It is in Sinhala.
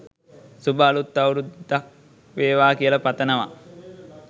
සුබ අලුත් අවුරුද්දක් වේවා කියල පතනවා